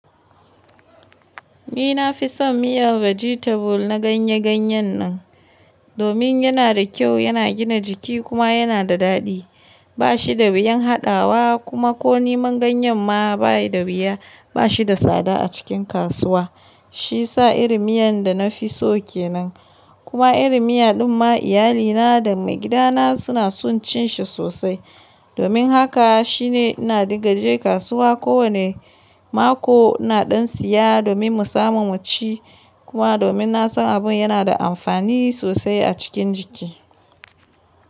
Ni na fi son miyan vegetable na ganye-ganye nan, domin yana da kyau, yana gina jiki kuma yana da daɗi. Ba shi da wuyan haɗawa kuma ko niman ganyen ma ba yi da wuya. Ba shi da tsada a cikin kasuwa. Shi sa iri miyan da na fi so ke nan. Kuma iri miya din ma iyalina da maigidana suna son cin shi sosai. Domin haka shine ina rigaje kasuwa kowane mako ina ɗan siya domin mu samu mu ci. Kuma domin na san abun yana da amfani sosai a cikin jiki.